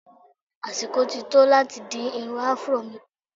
Àsìkò ti tó láti dín irun Afuró mi kù.